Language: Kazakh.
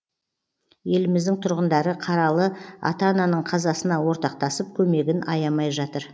еліміздің тұрғындары қаралы ата ананың қазасына ортақтасып көмегін аямай жатыр